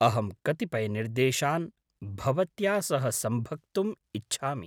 अहं कतिपयनिर्देशान् भवत्या सह संभक्तुम् इच्छामि।